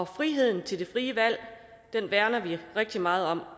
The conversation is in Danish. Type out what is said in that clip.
friheden til det frie valg værner vi rigtig meget om